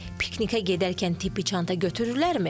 Piknikə gedərkən tibbi çanta götürürlərmi?